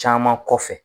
Caman kɔfɛ